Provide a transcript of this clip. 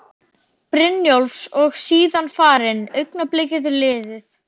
Brynjólfs og er síðan farin, augnablikið liðið.